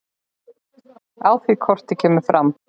Á því korti kemur fram